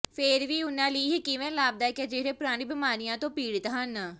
ਫੇਰ ਵੀ ਉਨ੍ਹਾਂ ਲਈ ਇਹ ਕਿਵੇਂ ਲਾਭਦਾਇਕ ਹੈ ਜਿਹੜੇ ਪੁਰਾਣੇ ਬਿਮਾਰੀਆਂ ਤੋਂ ਪੀੜਿਤ ਹਨ